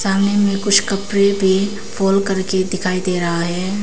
सामने में कुछ कपड़े भी फोल्ड करके दिखाई दे रहा है।